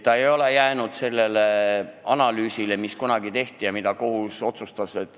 Ta ei ole jäänud selle analüüsi juurde, mis kunagi tehti ja mida kohus otsustas.